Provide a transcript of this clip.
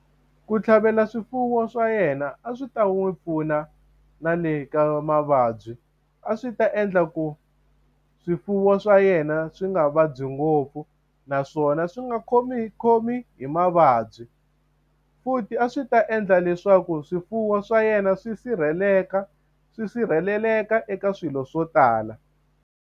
Ku tlhavela swifuwo swa yena a swi ta n'wi pfuna na le ka mavabyi, a swi ta endla ku swifuwo swa yena swi nga vabyi ngopfu na swona swi nga khomikhomi hi mavabyi. Futhi a swi ta endla leswaku swifuwo swa yena swi sirheleka, swi sirheleleka eka swilo swo tala.